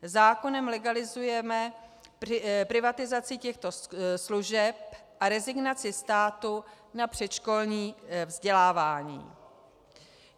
Zákonem legalizujeme privatizaci těchto služeb a rezignaci státu na předškolní vzdělávání.